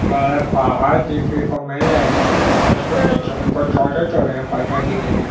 बड़े पहाड़ देखने को मिल रहे हैं उसके नीचे हमको छोटे छोटे पत्थर दिख रहे हैं।